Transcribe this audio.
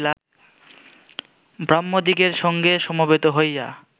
ব্রাহ্মদিগের সঙ্গে সমবেত হইয়া